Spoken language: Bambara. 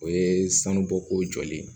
O ye sanubɔko jɔlen ye